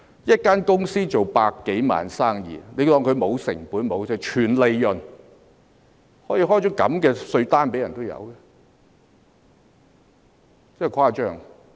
一間公司做百多萬元生意，便假設它沒有成本、全部是利潤，竟然可以開出這樣的稅單，真誇張。